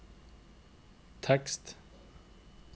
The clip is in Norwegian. tekst